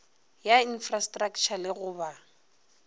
ya infrastraktšha le go ba